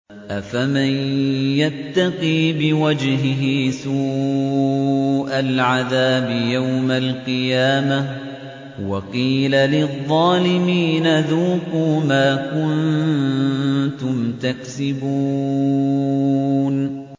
أَفَمَن يَتَّقِي بِوَجْهِهِ سُوءَ الْعَذَابِ يَوْمَ الْقِيَامَةِ ۚ وَقِيلَ لِلظَّالِمِينَ ذُوقُوا مَا كُنتُمْ تَكْسِبُونَ